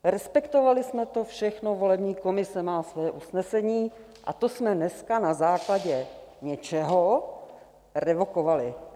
Respektovali jsme to všechno, volební komise má svoje usnesení, a to jsme dneska na základě něčeho revokovali.